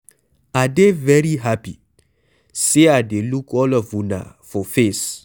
I dey very happy say I dey look all of una for face.